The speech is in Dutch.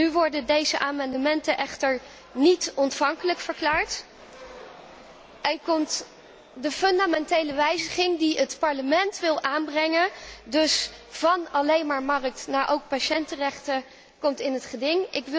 Nu worden deze amendementen echter niet ontvankelijk verklaard en komt de fundamentele wijziging die het Parlement wil aanbrengen dus van alleen maar marktgericht naar ook patiëntenrechten in het gedrang.